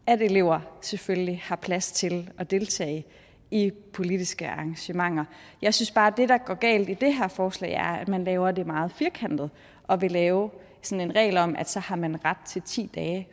at elever selvfølgelig har plads til at deltage i politiske arrangementer jeg synes bare at det der går galt i det her forslag er at man laver det meget firkantet og vil lave sådan en regel om at så har man ret til ti dage